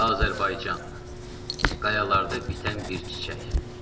Azərbaycan qayalarda bitən bir çiçək.